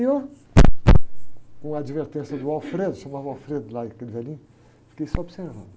E eu, com a advertência do, chamava lá, aquele velhinho, fiquei só observando.